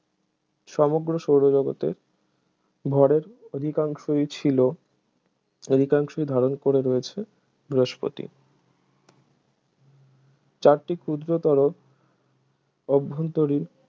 সমগ্র সৌরজগতের ভরের অধিকাংশই ছিল অধিকাংশ ধারণ করে রয়েছে বৃহস্পতি চারটি ক্ষুদ্রতর অভ্যন্তরীণ